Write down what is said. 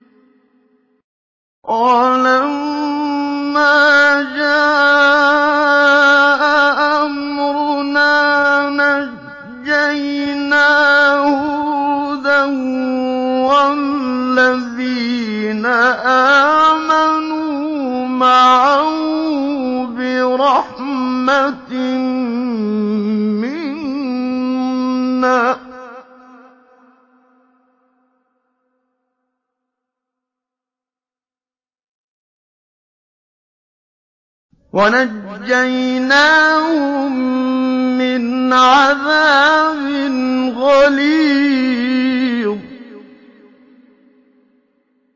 وَلَمَّا جَاءَ أَمْرُنَا نَجَّيْنَا هُودًا وَالَّذِينَ آمَنُوا مَعَهُ بِرَحْمَةٍ مِّنَّا وَنَجَّيْنَاهُم مِّنْ عَذَابٍ غَلِيظٍ